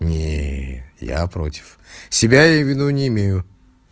нет я против себя я в виду не имею